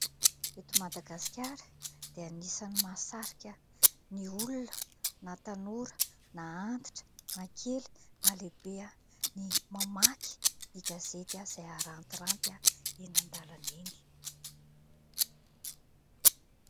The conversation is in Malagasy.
Eto Madagasikara dia anisan'ny mahasarika ny olona na tanora na antitra na kely na lehibe, ny mamaky ny gazety, izay arantiranty eny an-dalana eny.